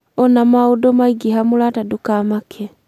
ona maũndũ maingĩha mũrata ndũkamake .